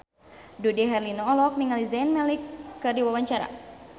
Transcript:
Dude Herlino olohok ningali Zayn Malik keur diwawancara